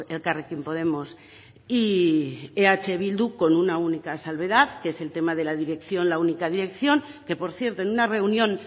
elkarrekin podemos y eh bildu con una única salvedad que es el tema de la dirección la única dirección que por cierto en una reunión